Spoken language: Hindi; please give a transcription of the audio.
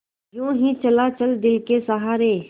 यूँ ही चला चल दिल के सहारे